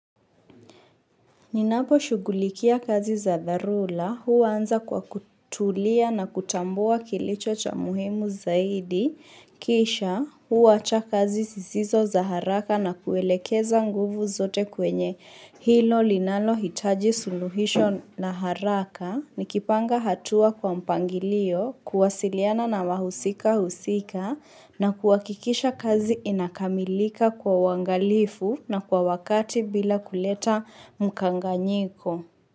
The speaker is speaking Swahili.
Ninaposhugulikia kazi za dharula, huwa anza kwa kutulia na kutambua kilicho cha muhimu zaidi, kisha huwacha kazi sisizo za haraka na kuelekeza nguvu zote kwenye hilo linalohitaji suluhisho na haraka, nikipanga hatua kwa mpangilio, kuwasiliana na wahusika husika na kuhakikisha kazi inakamilika kwa uangalifu na kwa wakati bila kuleta mkanganyiko.